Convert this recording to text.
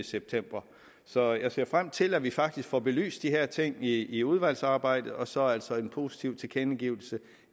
september så jeg ser frem til at vi faktisk får belyst de her ting i i udvalgsarbejdet og så altså en positiv tilkendegivelse